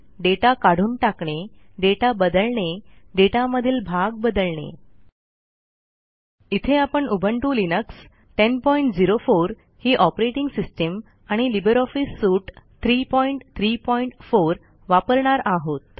data काढून टाकणे data बदलणे डेटामधील भाग बदलणे इथे आपण उबंटु लिनक्स 1004 ही ऑपरेटिंग सिस्टीम आणि लिब्रे ऑफिस सूट 334 वापरणार आहोत